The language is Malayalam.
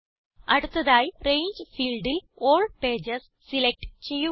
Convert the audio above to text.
അടുത്തതായി രംഗെ ഫീൽഡിൽ ആൽ പേജസ് സിലക്റ്റ് ചെയ്യുക